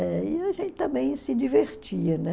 Eh e a gente também se divertia, né?